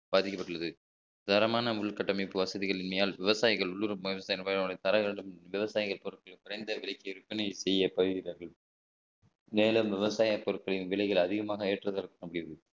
பாதிக்கப்பட்டுள்ளது தரமான உள்கட்டமைப்பு வசதிகள் இல்லமையால் விவசாயிகள் உள்ளுறவு தர வேண்டும் விவசாயிகள் குறைந்த விலைக்கு விற்பனை செய்யப்படுகிறார்கள் மேலும் விவசாய பொருட்களின் விலைகள் அதிகமாக ஏற்றுவதற்கும்